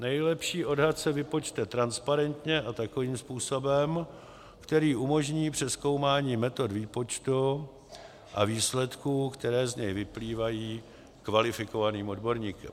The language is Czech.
Nejlepší odhad se vypočte transparentně a takovým způsobem, který umožní přezkoumání metod výpočtu a výsledků, které z něj vyplývají, kvalifikovaným odborníkem.